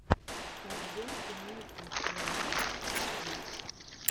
подборка ники джема ти ви